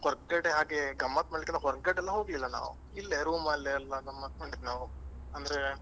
ಹೊರಗಡೆ ಹಾಗೆ ಗಮ್ಮತ್ ಮಾಡ್ಲಿಕ್ಕೆ ಹೊರಗಡೆ ಎಲ್ಲ ಹೋಗ್ಲಿಲ್ಲ ನಾವು ಇಲ್ಲೇ room ಅಲ್ಲೇ ಎಲ್ಲಾ ಗಮ್ಮತ್ ಮಾಡಿದ್ದು ನಾವು ಅಂದ್ರೆ